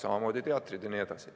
Samamoodi teatrid jne.